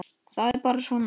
Það er bara svona!